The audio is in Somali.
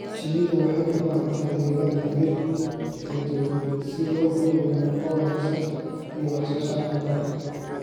Shinnidu waxay u baahan tahay deegaan leh dhir kala duwan si loo hubiyo nafaqo wanaagsan iyo wax soo saarka malabka.